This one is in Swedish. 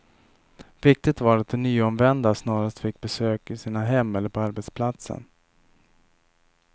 Viktigt var att de nyomvända snarast fick besök i sina hem eller på arbetsplatsen.